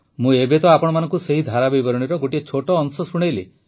ମୁଁ ଏବେ ଆପଣମାନଙ୍କୁ ସେହି ଧାରାବିବରଣୀର ଗୋଟିଏ ଛୋଟ ଅଂଶ ଶୁଣାଇଲି